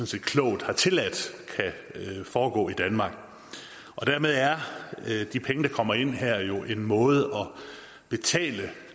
set klogt har tilladt kan foregå i danmark dermed er de penge der kommer ind her jo en måde at betale